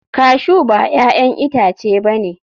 Cashew ba 'ya'yan itace ba ne.